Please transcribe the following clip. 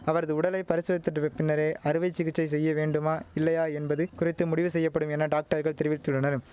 அவரது உடலை பரிசோதித்தடுவைப் பின்னரே அறுவை சிகிச்சை செய்ய வேண்டுமா இல்லையா என்பது குறித்து முடிவு செய்யப்படும் என டாக்டர்கள் தெரிவித்துள்ளனர்ம்